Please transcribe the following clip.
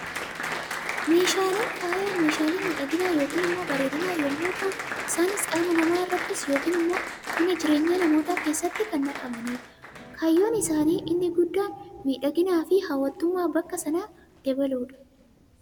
Meeshaaleen faayaa, meeshaalee miidhagina yookaan immoo bareedina yemmuu ta'u, isaanis qaama namaa irratti yookaan immoo mana jireenyaa namootaa keessatti kan naqamanidha. Kaayyoon isaanii inni guddaan, miidhaginaa fi hawwatummaa bakka sanaa dabaluudha